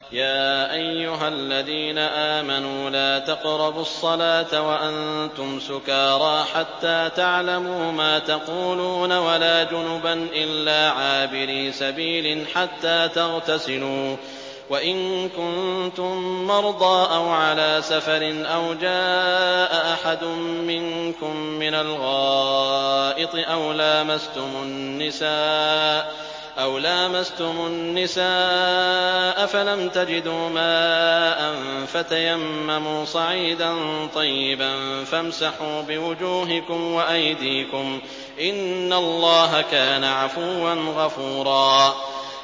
يَا أَيُّهَا الَّذِينَ آمَنُوا لَا تَقْرَبُوا الصَّلَاةَ وَأَنتُمْ سُكَارَىٰ حَتَّىٰ تَعْلَمُوا مَا تَقُولُونَ وَلَا جُنُبًا إِلَّا عَابِرِي سَبِيلٍ حَتَّىٰ تَغْتَسِلُوا ۚ وَإِن كُنتُم مَّرْضَىٰ أَوْ عَلَىٰ سَفَرٍ أَوْ جَاءَ أَحَدٌ مِّنكُم مِّنَ الْغَائِطِ أَوْ لَامَسْتُمُ النِّسَاءَ فَلَمْ تَجِدُوا مَاءً فَتَيَمَّمُوا صَعِيدًا طَيِّبًا فَامْسَحُوا بِوُجُوهِكُمْ وَأَيْدِيكُمْ ۗ إِنَّ اللَّهَ كَانَ عَفُوًّا غَفُورًا